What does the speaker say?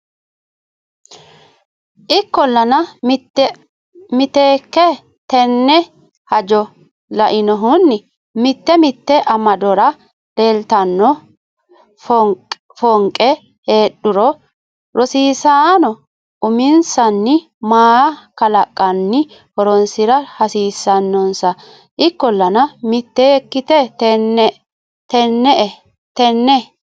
Ikkollana miteekke tenne hajo lainohunni mite mite amadora leeltanno foonqe heedhuro rosiisaano uminsanni mala kalaqqanni horonsi ra hasiissannonsa Ikkollana miteekke tenne.